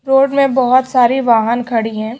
Road में बहुत सारि वाहन खड़ी है।